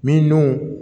Min dun